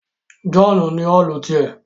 John ní Òòlù tiẹ